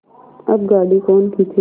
अब गाड़ी कौन खींचे